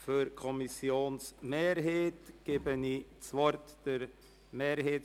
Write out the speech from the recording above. Für die Kommissionsmehrheit gebe ich das Wort Grossrätin Schöni.